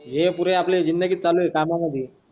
ह पुरी आपली जिंदगी चालू आहे कामामधी.